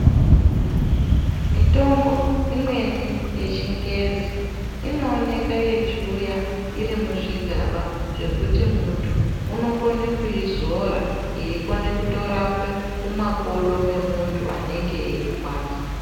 Mitombo imweni yechingezi inooneka yechiuya iri muzvigaba zvekuti muntu unokone kuizora eikone kutorape mumakodo memunhu anenge eirwadzwa.